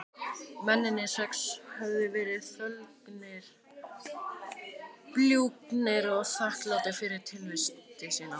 Mennirnir sex höfðu verið þöglir, bljúgir og þakklátir fyrir tilvist sína.